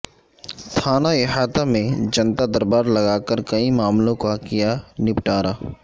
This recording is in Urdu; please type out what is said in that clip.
تھانہ احاطہ میں جنتادربار لگاکر کئی معاملوں کا کیا نبٹارہ